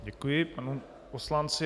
Děkuji panu poslanci.